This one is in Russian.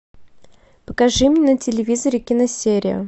покажи мне на телевизоре киносерию